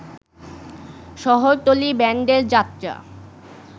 শহরতলী ব্যান্ডের যাত্রা